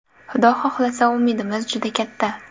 Xudo xohlasa, umidimiz juda katta.